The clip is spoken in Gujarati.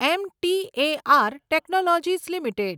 M T A R technologies limited